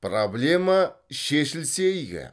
проблема шешілсе игі